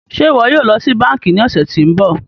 Ṣe iwọ yóò lọ si banki ni ọsẹ ti n bọ?